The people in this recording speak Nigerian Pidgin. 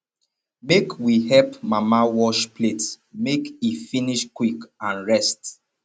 make we help mama wash plates make e finish quick and rest